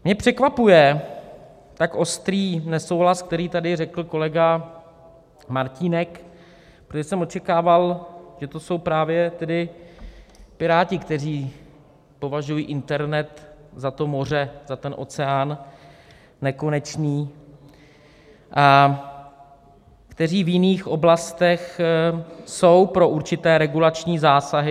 Mě překvapuje tak ostrý nesouhlas, který tady řekl kolega Martínek, protože jsem očekával, že to jsou právě tedy Piráti, kteří považují internet za to moře, za ten oceán nekonečný a kteří v jiných oblastech jsou pro určité regulační zásahy.